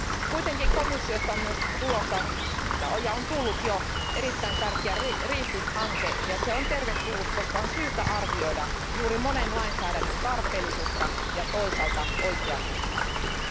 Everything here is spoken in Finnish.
Kuitenkin komissiosta on myös tulossa ja on tullut jo erittäin tärkeä REFIT hanke, ja se on tervetullut, koska on syytä arvioida juuri monen lainsäädännön tarpeellisuutta ja toisaalta oikeasuhtaisuutta.